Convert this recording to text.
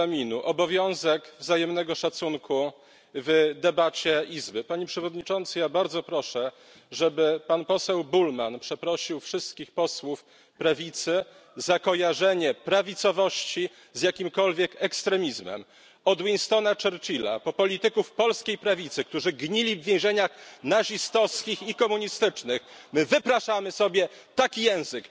11 ust. 3 Regulaminu obowiązek wzajemnego szacunku w debacie Izby. Panie Przewodniczący, bardzo proszę, żeby pan poseł Bullmann przeprosił wszystkich posłów prawicy za kojarzenie prawicowości z jakimkolwiek ekstremizmem. Od Winstona Churchilla po polityków polskiej prawicy, którzy gnili w więzieniach nazistowskich i komunistycznych, my wypraszamy sobie taki język!